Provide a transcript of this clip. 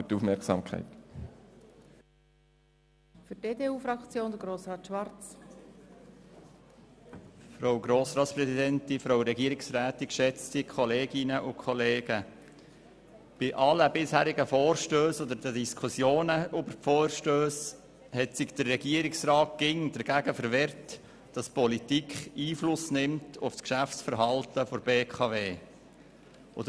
Bei allen bisherigen Vorstössen und den damit einhergehenden Diskussionen hat sich der Regierungsrat immer dagegen verwahrt, dass die Politik Einfluss auf das Geschäftsverhalten der BKW nimmt.